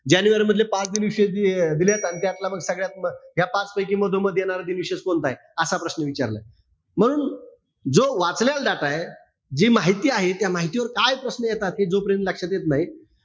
जानेवारी मधले पाच दिनविशेष जे दिलेय, अन त्यातला मग सगळ्यात, या पाचपैकी मधोमध येणार दिनविशेष कोणताय? असा प्रश्न विचारलाय. मग जो वाचलेला data य, जी माहिती आहे, त्या माहितीवर काय प्रश्न येतात, हे जोपर्यंत लक्षात येत नाही,